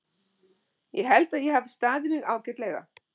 Ég held að ég hafi staðið mig ágætlega.